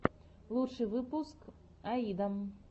лучший выпуск аида